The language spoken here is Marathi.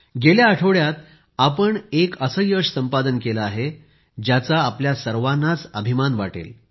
गेल्या आठवड्यात आपण एक असे यश संपादन केलं आहे ज्याचा आपल्या सर्वांनाच अभिमान वाटेल